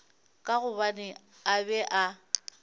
ka gobane a be a